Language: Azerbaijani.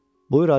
Buyur Hacı.